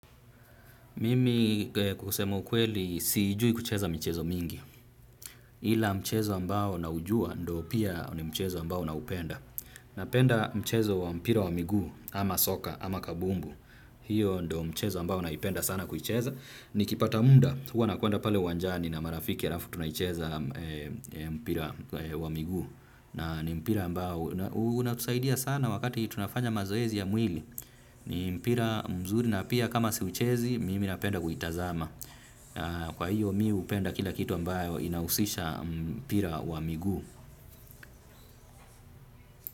Mimi kusema ukweli sijui kucheza michezo mingi, ila mchezo ambao naujua ndio pia ni mchezo ambao naupenda. Napenda mchezo wa mpira wa miguu, ama soka, ama kabumbu, hiyo ndo mchezo ambao naipenda sana kuicheza. Nikipata muda, huwa nakwenda pale uwanjani na marafiki alafu tunaicheza mpira wa miguu. Na ni mpira ambao unatusaidia sana wakati tunafanya mazoezi ya mwili. Ni mpira mzuri na pia kama siuchezi, mimi napenda kuitazama. Kwa hiyo mimi hupenda kila kitu ambao inahusisha mpira wa miguu.